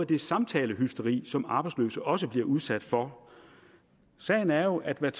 det samtalehysteri som arbejdsløse også bliver udsat for sagen er jo at man